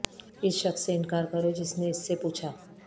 اس شخص سے انکار کرو جس نے اس سے پوچھا